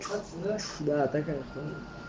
да конечно